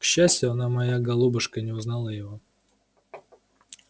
к счастью она моя голубушка не узнала его